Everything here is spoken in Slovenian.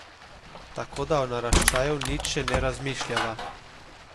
Tako, da o naraščaju nič še ne razmišljava.